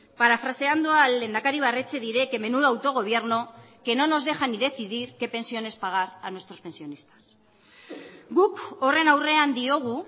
parafraseando al lehendakari ibarretxe diré que menudo autogobierno que no nos deja ni decidir qué pensiones pagar a nuestros pensionistas guk horren aurrean diogu